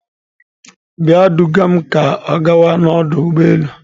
Bịa duga m ka ọ gawa n'ọdụ ụgbọ elu.